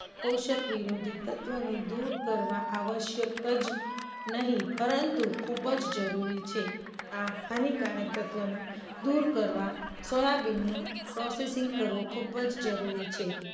પોષક વિરોધી તત્વોને દૂર કરવા આવશ્યક જ નહીં પરંતુ, ખૂબ જ જરૂરી છે. આ હાનિકારક તત્વને દૂર કરવા સોયાબીન નો processing કરવું ખૂબ જ જરૂરી છે.